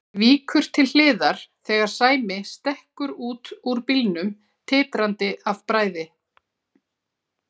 Víkur til hliðar þegar Sæmi stekkur út úr bílnum, titrandi af bræði.